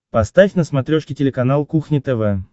поставь на смотрешке телеканал кухня тв